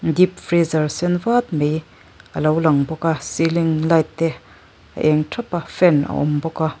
dip friizar sen vat mai alo lang bawk a silinh lait te a eng thap a fan a awm bawk a.